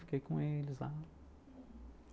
Fiquei com eles lá.